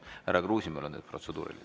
Härra Kruusimäel on protseduuriline.